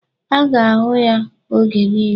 A na-ahụ ya oge niile.